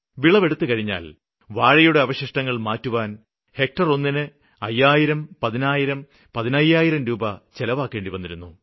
വിളവെടുത്തുകഴിഞ്ഞ് വാഴയുടെ അവശിഷ്ടങ്ങള് മാറ്റുവാന് ഹെക്ടര് ഒന്നിന് അയ്യായിരം പതിനായിരം പതിനയ്യായിരം ചിലവാക്കേണ്ടിവന്നിരുന്നു